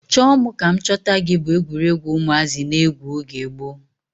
Chọọ mụ ka m chọta gị bu egwuruegwu ụmụazị na-egwu oge gboo.